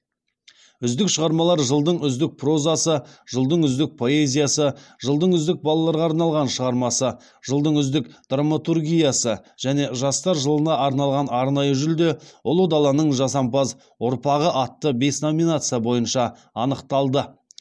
үздік шығармалар жылдың үздік прозасы жылдың үздік поэзиясы жылдың үздік балаларға арналған шығармасы жылдың үздік драматургиясы және жастар жылына арналған арнайы жүлде ұлы даланың жасампаз ұрпағы атты бес номинация бойынша анықталды